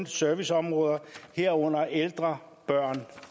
serviceområder herunder ældre børne